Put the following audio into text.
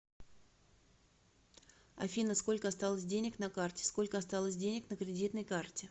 афина сколько осталось денег на карте сколько осталось денег на кредитной карте